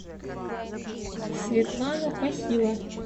светлана похила